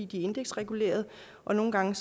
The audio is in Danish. de er indeksregulerede og nogle gange